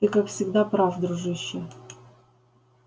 ты как всегда прав дружище